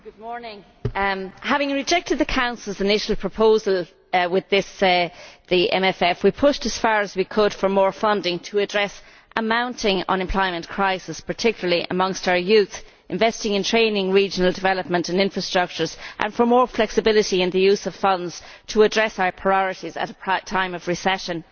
Mr President, having rejected the Council's initial proposal for the MFF, we pushed as far as we could for more funding to address a mounting unemployment crisis, particularly amongst our youth, for investment in training, regional development and infrastructure and for more flexibility in the use of funds in order to address our priorities at a time of recession.